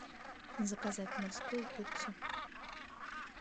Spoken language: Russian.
заказать морскую пиццу